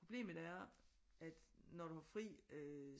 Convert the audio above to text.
Problemet er at når du har fri øh